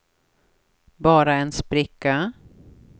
bara en spricka